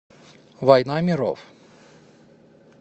война миров